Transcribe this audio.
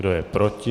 Kdo je proti?